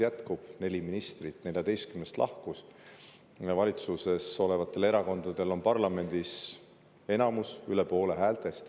Lahkus neli ministrit 14‑st. Valitsuses olevatel erakondadel on parlamendis enamus, üle poole häältest.